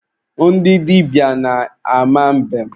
Ndị dịbịa na-ama mbem.